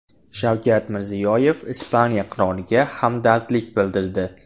Shavkat Mirziyoyev Ispaniya qiroliga hamdardlik bildirdi.